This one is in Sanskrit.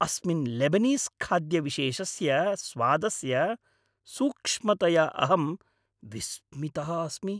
अस्मिन् लेबनीस् खाद्यविशेषस्य स्वादस्य सूक्ष्मतया अहं विस्मितः अस्मि।